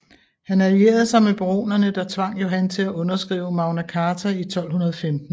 Han allierede sig med baronerne der tvang Johan til at underskrive Magna Carta i 1215